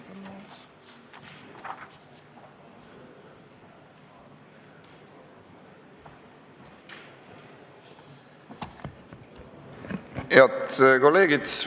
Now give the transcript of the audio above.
Head kolleegid!